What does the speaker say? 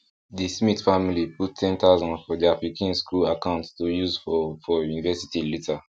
the smith family put 10000 for their pikin school account to use for for university later